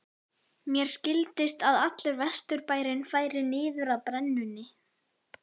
Mér skildist að allur Vesturbærinn færi niður að brennunni.